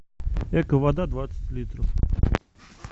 эко вода двадцать литров